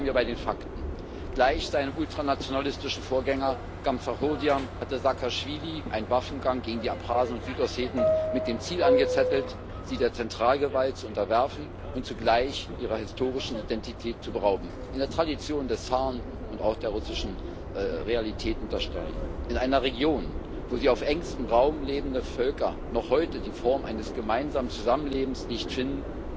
Bleiben wir bei den Fakten Gleich seinem ultranationalistischen Vorgänger Gamsachurdia hatte Saakaschwili einen Waffengang gegen die Abchasen und Südosseten mit dem Ziel angezettelt, sie der Zentralgewalt zu unterwerfen und zugleich ihrer historischen Identität zu berauben in der Tradition des Zaren und auch der russischen Realität unter Stalin. In einer Region, wo die auf engstem Raum lebenden Völker noch heute die Form eines gemeinsamen Zusammenlebens nicht finden,